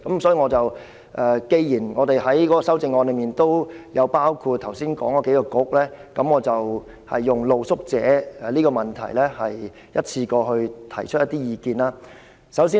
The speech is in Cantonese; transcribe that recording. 所以，既然我們的修正案都包括剛才提及的數個政策局，我便就露宿者的問題，一次過提出一些意見。